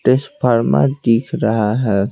दिख रहा है।